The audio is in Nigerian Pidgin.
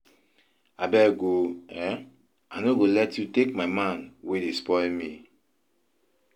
Abeg oo, um I nọ go let you take my man wey dey spoil me.